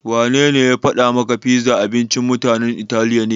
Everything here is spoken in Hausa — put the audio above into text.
Wanene ya faɗa maka pizza abincin mutanen Italiya ne?